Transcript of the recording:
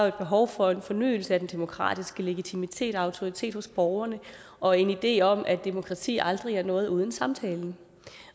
et behov for en fornyelse af den demokratiske legitimitet og autoritet hos borgerne og en idé om at demokrati aldrig er noget uden samtalen